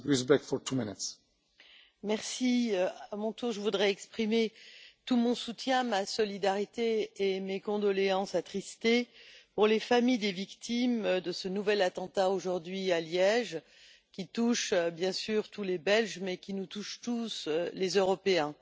Monsieur le Président, à mon tour, je voudrais exprimer tout mon soutien, ma solidarité et mes condoléances attristées aux familles des victimes de ce nouvel attentat, aujourd'hui, à Liège, qui touche bien sûr tous les Belges, mais qui nous touche tous en tant qu'Européens.